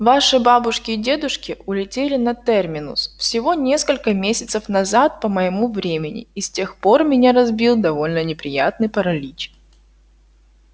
ваши бабушки и дедушки улетели на терминус всего несколько месяцев назад по моему времени и с тех пор меня разбил довольно неприятный паралич